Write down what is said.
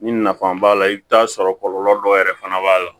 Ni nafa b'a la i bi t'a sɔrɔ kɔlɔlɔ dɔ yɛrɛ fana b'a la